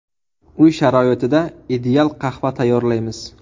Uy sharoitida ideal qahva tayyorlaymiz.